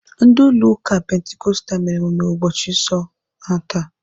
Ndi ụlọ ụka pentikostal mere emume ụbọchị nsọ ha taa.